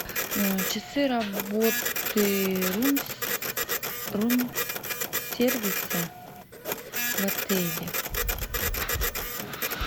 часы работы рум сервиса в отеле